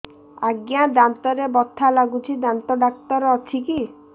ଆଜ୍ଞା ଦାନ୍ତରେ ବଥା ଲାଗୁଚି ଦାନ୍ତ ଡାକ୍ତର ଅଛି କି